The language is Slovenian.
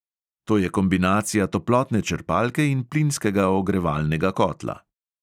To je kombinacija toplotne črpalke in plinskega ogrevalnega kotla.